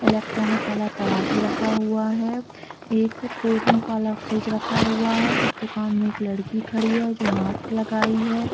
Electronic वाला तराजू रखा हुआ है एक कोल्ड्रिंग वाला फ्रिज रखा हुआ है इस दुकान में एक लड़की खड़ी है जो मास्क लगायी है ।